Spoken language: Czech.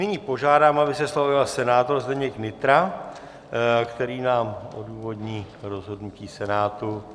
Nyní požádám, aby se slova ujal senátor Zdeněk Nytra, který nám odůvodní rozhodnutí Senátu.